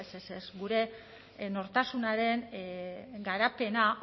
ez ez ez gure nortasunaren garapena